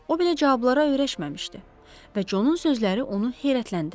O belə cavablara öyrəşməmişdi və conun sözləri onu heyrətləndirdi.